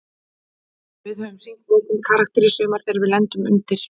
Við höfum sýnt mikinn karakter í sumar þegar við lendum undir.